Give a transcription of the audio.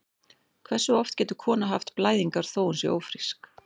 Hversu oft getur kona haft blæðingar þó að hún sé ófrísk?